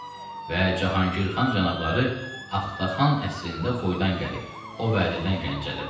Və Cahangirxan cənabları Axtaxan əsrində Xoydan gəlib, o vədəyə Gəncədədir.